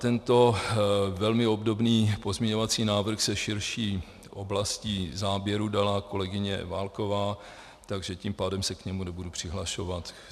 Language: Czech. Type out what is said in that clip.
Tento velmi obdobný pozměňovací návrh se širší oblastí záběru dala kolegyně Válková, takže tím pádem se k němu nebudu přihlašovat.